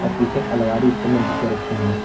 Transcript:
पीछे अलमारी इसके अंदर बुके रखी हैं।